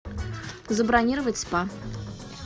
забронировать спа